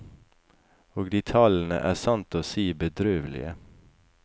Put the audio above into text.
Og de tallene er sant å si bedrøvelige.